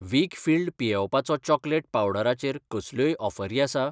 वीकफील्ड पियेवपाचो चॉकलेट पावडरा चेर कसल्योय ऑफरी आसा ?